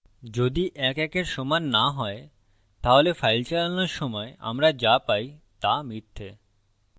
যদি ১ ১এর সমান না হয় তাহলে file চালানোর সময় আমরা যা পাই তা মিথ্যা